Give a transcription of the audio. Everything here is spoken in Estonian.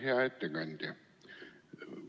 Hea ettekandja!